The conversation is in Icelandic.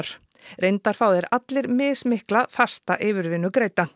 reyndar fá þeir allir mismikla fasta yfirvinnu